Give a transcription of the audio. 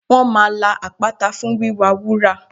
Wọ́n máa la àpáta fún wíwá wúrà